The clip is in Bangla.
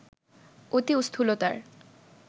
অতি স্থূলতার